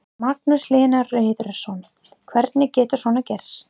Magnús Hlynur Hreiðarsson: Hvernig getur svona gerst?